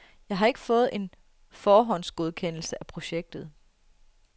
Jeg har ikke fået en forhåndsgodkendelse af projektet.